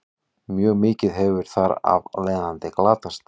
mjög mikið hefur þar af leiðandi glatast